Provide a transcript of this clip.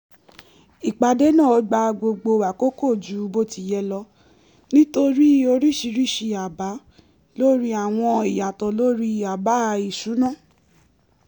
ìpàdé náà gbà gbogbo àkókò jù bó ti yẹ lọ nítorí oríṣiríṣi àbá lórí àwọn ìyàtọ̀ lori àbá isunna